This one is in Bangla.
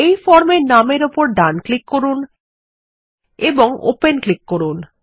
এই ফর্ম এর নামের উপর ডানক্লিক করুন এবং ওপেন ক্লিক করুন